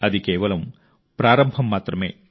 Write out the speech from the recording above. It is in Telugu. అది కేవలం ప్రారంభం మాత్రమే